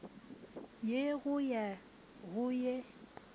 ye go ya go ye